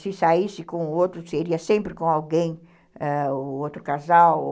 Se saísse com o outro, seria sempre com alguém, ãh, o outro casal.